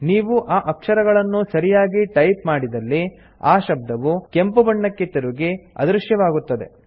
ನೀವು ಆ ಅಕ್ಷರಗಳನ್ನು ಸರಿಯಾಗಿ ಟೈಪ್ ಮಾಡಿದಲ್ಲಿ ಆ ಶಬ್ದವು ಕೆಂಪು ಬಣ್ಣಕ್ಕೆ ತಿರುಗಿ ಅದೃಶ್ಯವಾಗುತ್ತದೆ